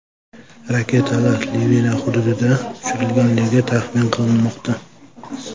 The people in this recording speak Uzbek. Raketalar Livan hududidan uchirilganligi taxmin qilinmoqda.